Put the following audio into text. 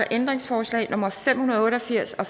ændringsforslag nummer fem hundrede og en og firs af